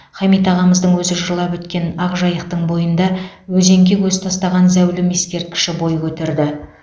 хамит ағамыздың өзі жырлап өткен ақ жайықтың бойында өзенге көз тастаған зәулім ескерткіші бой көтерді